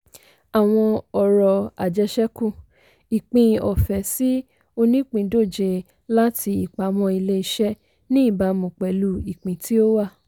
àwọn ọrọ̀ ajésekú - ìpín ọ̀fẹ́ sí onípìndóje láti ìpamọ́ ilé-iṣẹ́ ní ìbámu pẹ̀lú ìpín tí ó wà.